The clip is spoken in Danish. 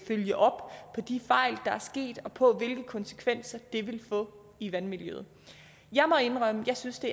følge op på de fejl der er sket og på hvilke konsekvenser det vil få i vandmiljøet jeg må indrømme at jeg synes det